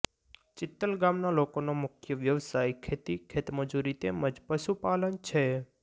ચિત્તલ ગામના લોકોનો મુખ્ય વ્યવસાય ખેતી ખેતમજૂરી તેમ જ પશુપાલન છે